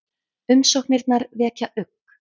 Umsóknirnar vekja ugg